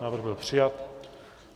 Návrh byl přijat.